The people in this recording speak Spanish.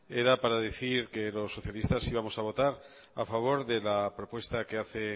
era para decir que los socialistas íbamos a votar a favor de la propuesta que hace el